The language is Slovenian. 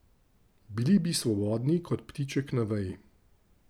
Bili bi svobodni kot ptiček na veji.